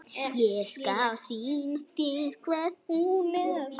Ég skal sýna þér hvar.